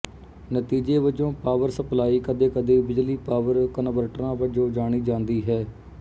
ਨਤੀਜੇ ਵਜੋਂ power supply ਕਦੇਕਦੇ ਬਿਜਲੀ ਪਾਵਰ ਕਨਵਰਟਰਾਂ ਵਜੋਂ ਜਾਣੀ ਜਾਂਦੀ ਹੈ